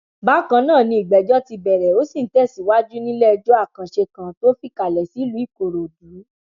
bákan náà ni ìgbẹjọ ti bẹrẹ ó sì ń tẹsíwájé níléẹjọ àkànṣe kan tó fìkàlẹ sílùú ìkòròdú